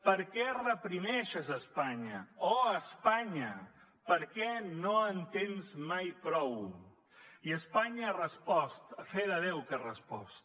per què reprimeixes espanya oh espanya per què no en tens mai prou i espanya ha respost a fe de déu que ha respost